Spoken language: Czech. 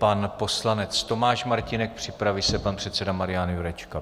Pan poslanec Tomáš Martínek, připraví se pan předseda Marian Jurečka.